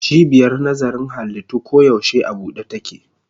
Cibiyar nazarin halittu koyaushe a buɗe take.